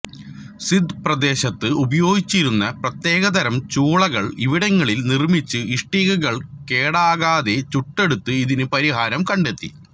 സിന്ധ് പ്രദേശത്ത് ഉപയോഗ്ഗിച്ചിരുന്ന പ്രത്യേകതരം ചൂളകൾ ഇവിടങ്ങളിൽ നിർമ്മിച്ച് ഇഷ്ടികകൾ കേടാകാതെ ചുട്ടെടുത്ത് ഇതിന് പരിഹാരം കണ്ടെത്തി